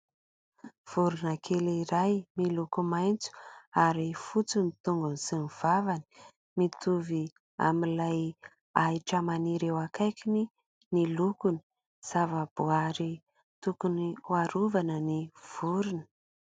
Vorona kely iray miloko maitso ary fotsy ny tongony sy ny vavany. Mitovy amin'ilay ahitra maniry eo akaikiny ny lokony. Zavaboaary tokony harovana ny vorona.